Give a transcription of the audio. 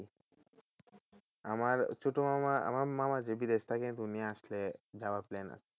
আমার ছোটো মামা আমার মামা যে বিদেশে থাকে তো উনি আসলে যাওয়ার একটা plan আছে।